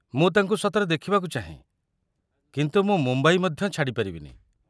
ମୁଁ ତାଙ୍କୁ ସତରେ ଦେଖିବାକୁ ଚାହେଁ, କିନ୍ତୁ ମୁଁ ମୁମ୍ବାଇ ମଧ୍ୟ ଛାଡ଼ି ପାରିବିନି।